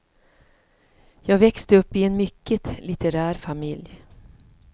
Jag växte upp i en mycket litterär familj.